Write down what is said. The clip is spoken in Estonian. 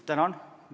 Tänan!